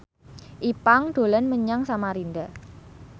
Ipank dolan menyang Samarinda